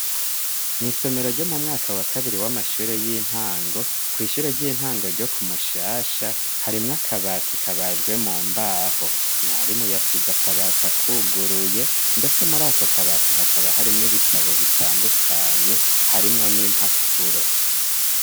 Mw'isomero ryo mu mwaka wa kabiri w'amashure y'intango kw'ishure ry'intango ryo kumushasha harimwo akabati kabajwe mu mbaho mwari mu yasiza akabati akwuguruye, ndetse muri ako kabati hakaba harimwo ibitabo bitandukanye harimwo n'impapuro.